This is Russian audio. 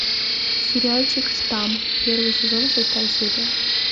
сериальчик штамм первый сезон шестая серия